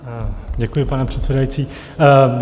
Děkuji, pane předsedající.